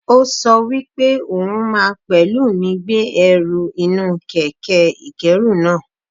Ó sọ wípé òhun máa pẹ̀lú mi gbé ẹrù inú kẹ̀kẹ́ ìkẹ́rù náa.